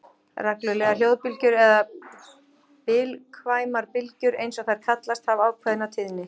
Reglulegar hljóðbylgjur, eða bilkvæmar bylgjur eins og þær kallast, hafa ákveðna tíðni.